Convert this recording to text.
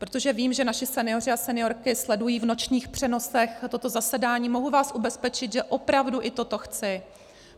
Protože vím, že naši senioři a seniorky sledují v nočních přenosech toto zasedání, mohu vás ubezpečit, že opravdu i toto chci.